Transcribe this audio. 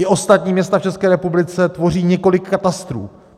I ostatní města v České republice tvoří několik katastrů.